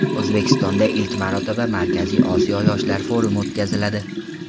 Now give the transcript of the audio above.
O‘zbekistonda ilk marotaba Markaziy Osiyo yoshlar forumi o‘tkaziladi.